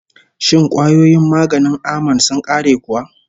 Shin kwayoyin maganin aman sun ƙare kuwa?